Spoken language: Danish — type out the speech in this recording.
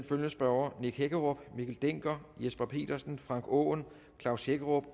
følgende spørgere nick hækkerup mikkel dencker jesper petersen frank aaen klaus hækkerup